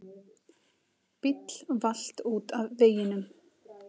Bíll valt út af veginum.